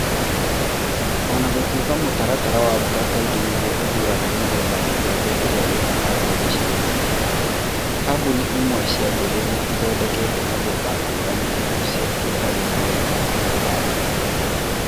O na gũtuĩka mũtaratara wa mbura kaingĩ nĩguo ũthuuraga mĩthemba ya mbembe ĩrĩa ĩkũhandwo gĩcigo-inĩ kĩna, kambuni imwe cia mbegũ nĩ ithondekete mĩthemba ya ngũrani ĩhocetie harĩ moritũ ma kũhanda.